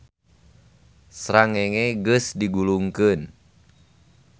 Srangenge geus digulungkeun